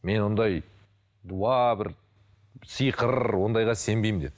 мен ондай дуа бір сиқыр ондайға сенбеймін деді